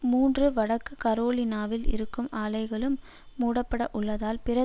மூன்று வடக்கு கரோலினாவில் இருக்கும் ஆலைகளும் மூடப்பட உள்ளதால் பிற